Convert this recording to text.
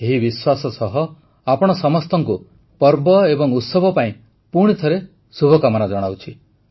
ଏହି ବିଶ୍ୱାସ ସହ ଆପଣ ସମସ୍ତଙ୍କୁ ପର୍ବ ଉତ୍ସବ ପାଇଁ ପୁଣିଥରେ ଶୁଭକାମନା ଜଣାଉଛି